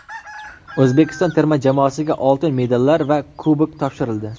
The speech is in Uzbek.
O‘zbekiston terma jamoasiga oltin medallar va kubok topshirildi.